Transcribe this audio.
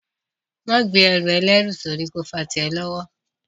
Máa gbé ẹrù ẹlẹ́rù sórí ó fà tí ẹ lọ́wọ́